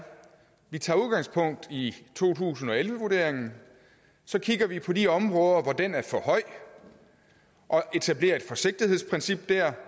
at tage udgangspunkt i to tusind og elleve vurderingen så kigger vi på de områder hvor den er for høj og etablerer et forsigtighedsprincip der